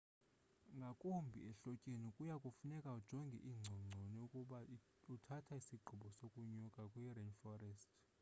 ngakumbi ehlotyeni kuya kufuneka ujonge iingcongconi ukuba uthatha isigqibo sokunyuka kwi-rainforest